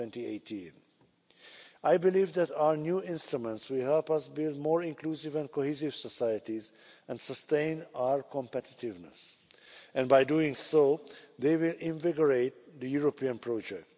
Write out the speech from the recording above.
2018. I believe that our new instruments will help us build more inclusive and cohesive societies and sustain our competitiveness, and, by doing so, they will invigorate the European project.